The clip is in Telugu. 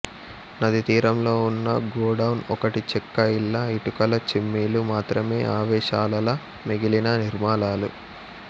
నదీతీరంలో ఉన్న గోడౌన్ ఒకటి చెక్క ఇళ్ళ ఇటుకల చిమ్నీలు మాత్రమే అవశేషాలలా మిగిలిన నిర్మాణాలు